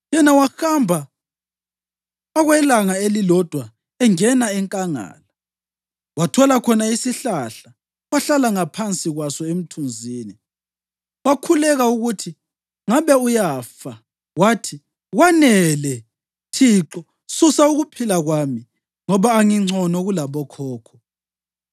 Yena wahamba okwelanga elilodwa engena enkangala. Wathola khona isihlahla, wahlala ngaphansi kwaso emthunzini, wakhulekela ukuthi ngabe uyafa wathi, “Kwanele, Thixo, susa ukuphila kwami ngoba angingcono kulabokhokho.”